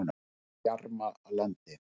Bjarmalandi